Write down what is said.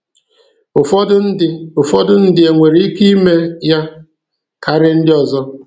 Ụfọdụ ndị Ụfọdụ ndị nwere ike ime ya karịa ndị ọzọ."